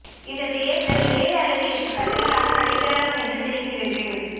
இந்த தேர்தல் ஏழு அல்லது எட்டு கட்டங்களாக நடைபெறலாம் என்று தெரிகிறது